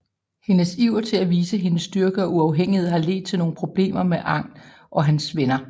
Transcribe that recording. Hendes iver til at vise hendes styrke og uafhængighed har ledt til nogle problemer med Aang og hans venner